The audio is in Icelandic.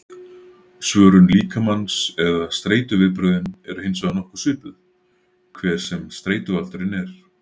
Svörun líkamans eða streituviðbrögðin eru hins vegar nokkuð svipuð, hver sem streituvaldurinn er.